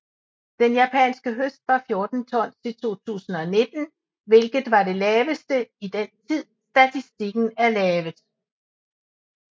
Den japanske høst var 14 tons i 2019 hvilket var det laveste i den tid statistikken er lavet